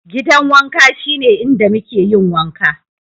Gidan wanka shine inda muke yin wanka.